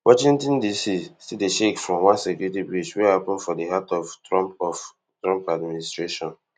washington dc still dey shake from one security breach wey happun for di heart of trump of trump administration